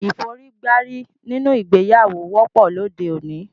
Ìforígbárí nínú ìgbéyàwó wọ́pọ̀ lóde òní